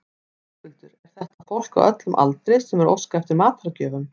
Höskuldur, er þetta fólk á öllum aldri sem er að óska eftir matargjöfum?